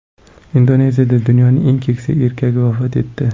Indoneziyada dunyoning eng keksa erkagi vafot etdi.